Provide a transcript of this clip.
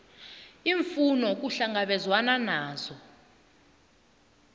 iimfuno kuhlangabezwene nazo